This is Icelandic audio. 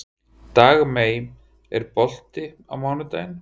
Dagmey, er bolti á mánudaginn?